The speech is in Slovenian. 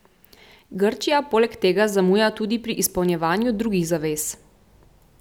Grčija poleg tega zamuja tudi pri izpolnjevanju drugih zavez.